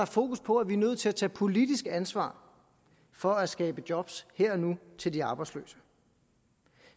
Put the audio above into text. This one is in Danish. fokus på at vi er nødt til at tage politisk ansvar for at skabe job her og nu til de arbejdsløse